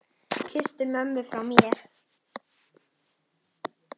Kysstu mömmu frá mér.